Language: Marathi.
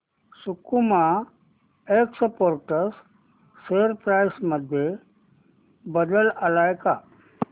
सकुमा एक्सपोर्ट्स शेअर प्राइस मध्ये बदल आलाय का